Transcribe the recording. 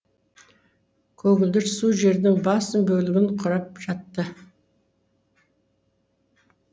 көгілдір су жердің басым бөлігін кұрап жатты